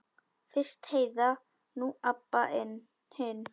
Fyrst Heiða, nú Abba hin.